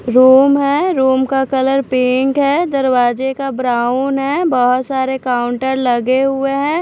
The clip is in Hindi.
रूम है रूम का कलर पिंक है दरवाजे का ब्राउन है बहुत सारे काउंटर लगे हुए हैं।